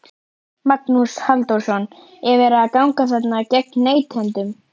Magnús Halldórsson: Er verið að ganga þarna gegn neytendum?